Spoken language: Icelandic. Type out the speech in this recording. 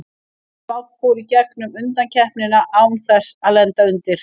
Spánn fór í gegnum undankeppnina án þess að lenda undir.